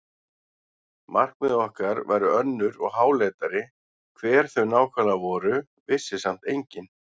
Markmið okkar væru önnur og háleitari, hver þau nákvæmlega voru vissi samt enginn.